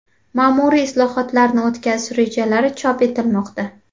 Ma’muriy islohotlarni o‘tkazish rejalari chop etilmoqda.